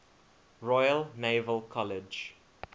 royal naval college